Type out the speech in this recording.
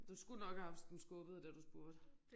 Du skulle nok have haft den skubbet da du spurgte